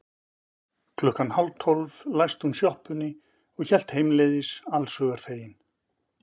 Klukkan hálftólf læsti hún sjoppunni og hélt heimleiðis allshugar fegin.